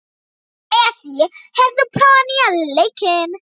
Esí, hefur þú prófað nýja leikinn?